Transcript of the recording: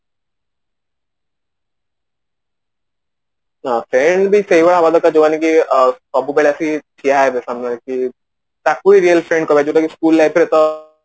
ସେଇମିତି ସେଇଭଳିଆ ଯୋଉମାନେ କି ସବୁବେଳେ ଆସିକି ଠିଆ ହେବେ ସମୟକୁ ତାକୁ ହିଁ real friend କରାଯିବ କି school life ରେ ta